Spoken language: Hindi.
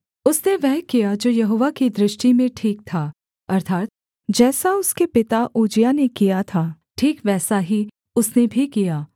उसने वह किया जो यहोवा की दृष्टि में ठीक था अर्थात् जैसा उसके पिता उज्जियाह ने किया था ठीक वैसा ही उसने भी किया